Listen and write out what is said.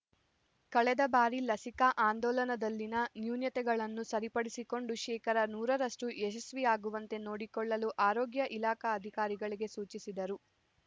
ಕಳೆದ ಬಾರಿ ಲಸಿಕಾ ಆಂದೋಲನದಲ್ಲಿನ ನ್ಯೂನತೆಗಳನ್ನು ಸರಿಪಡಿಸಿಕೊಂಡು ಶೇಕಡಾ ನೂರ ರಷ್ಟು ಯಶಸ್ಸಿಯಾಗುವಂತೆ ನೋಡಿಕೊಳ್ಳಲು ಆರೋಗ್ಯ ಇಲಾಖಾ ಅಧಿಕಾರಿಗಳಿಗೆ ಸೂಚಿಸಿದರು